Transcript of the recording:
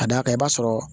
Ka d'a kan i b'a sɔrɔ